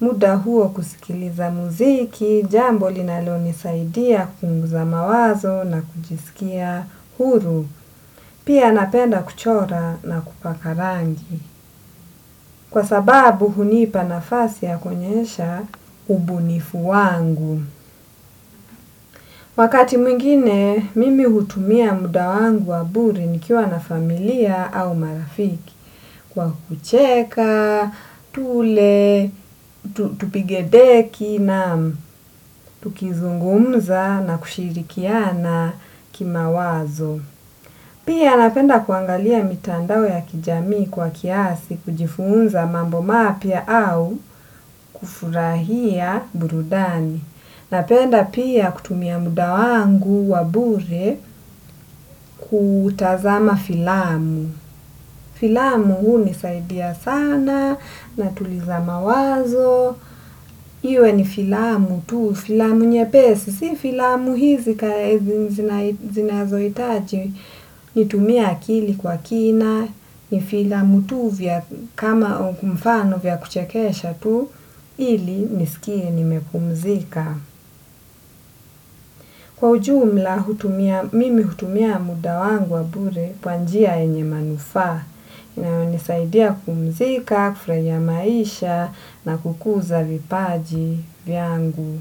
muda huo kusikiliza muziki, jambo linalo nisaidia kupunguza mawazo na kujisikia huru, pia napenda kuchora na kupaka rangi. Kwa sababu hunipa nafasi ya kuonyesha ubunifu wangu. Wakati mwingine, mimi hutumia muda wangu wa bure nikiwa na familia au marafiki kwa kucheka, tule, tupige deki na tukizungumza na kushirikiana kimawazo. Pia napenda kuangalia mitandao ya kijamii kwa kiasi kujifunza mambo mapya au kufurahia burudani. Napenda pia kutumia muda wangu wa bure kutazama filamu. Filamu hunisaidia sana natuliza mawazo. Iwe ni filamu tu. Filamu nyepesi. Si filamu hizi kaya zinazo itaji. Nitumie akili kwa kina. Ni filamu tu vya kama kumfano vya kuchekesha tu. Ili nisikie nimepumzika. Kwa ujumla, mimi hutumia muda wangu wa bure kwa njia yenye manufaa. Inayo nisaidia kupumzika, kufraia maisha na kukuza vipaji vyangu.